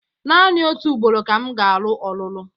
Naanị otu ugboro ka m ga-alụ ọlụlụ.